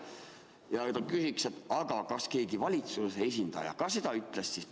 Ja nüüd ma küsin: kas keegi valitsuse esindaja ka seda on öelnud?